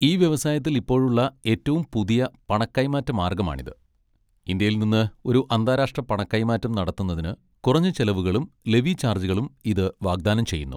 ഈ വ്യവസായത്തിൽ ഇപ്പോഴുള്ള ഏറ്റവും പുതിയ പണ കൈമാറ്റ മാർഗ്ഗമാണിത്, ഇന്ത്യയിൽ നിന്ന് ഒരു അന്താരാഷ്ട്ര പണ കൈമാറ്റം നടത്തുന്നതിന് കുറഞ്ഞ ചെലവുകളും ലെവി ചാർജുകളും ഇത് വാഗ്ദാനം ചെയ്യുന്നു.